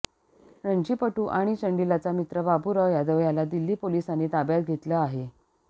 रणजीपटू आणि चंडीलाचा मित्र बाबूराव यादव याला दिल्ली पोलिसांनी ताब्यात घेतले आहे